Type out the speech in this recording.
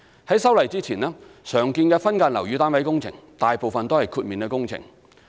在修例前，常見的分間樓宇單位工程大部分為豁免工程。